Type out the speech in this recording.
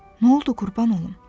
Nə oldu qurban olum?